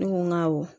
Ne ko n ko awɔ